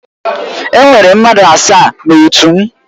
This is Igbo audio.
Enwere mmadụ asaa na otu m.